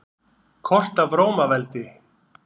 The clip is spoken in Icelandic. Kort af Rómaveldi.